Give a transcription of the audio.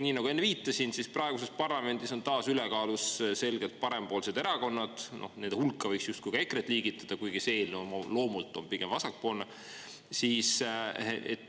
Nii nagu enne viitasin, praeguses parlamendis on taas ülekaalus selgelt parempoolsed erakonnad, nende hulka võiks justkui ka EKRE-t liigitada, kuigi see eelnõu oma loomult on pigem vasakpoolne.